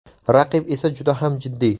Raqib esa juda ham jiddiy.